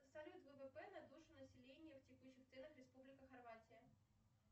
салют ввп на душу населения в текущих ценах республика хорватия